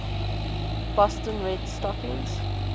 boston red stockings